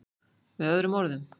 Með öðrum orðum.